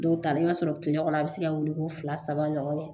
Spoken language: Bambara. Dɔw ta la i b'a sɔrɔ kile kɔnɔ a bi se ka wele ko fila saba ɲɔgɔn kɛ